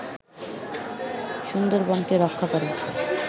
সুন্দরবনকে রক্ষা করে